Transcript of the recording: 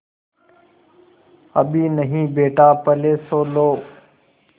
अभी नहीं बेटा पहले सो लो